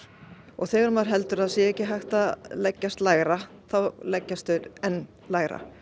þegar maður heldur að það sé ekki hægt að leggjast lægra þá leggjast þeir enn lægra